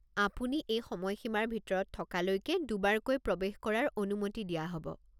আপুনি এই সময়সীমাৰ ভিতৰত থকালৈকে দুবাৰকৈ প্ৰৱেশ কৰাৰ অনুমতি দিয়া হ'ব।